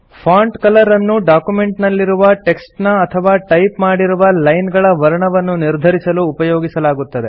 font colour ಅನ್ನು document ನಲ್ಲಿರುವ text ನ ಅಥವಾ ಟೈಪ್ ಮಾಡಿರುವ ಲೈನ್ ಗಳ ವರ್ಣವನ್ನು ನಿರ್ಧರಿಸಲು ಉಪಯೋಗಿಸಲಾಗುತ್ತದೆ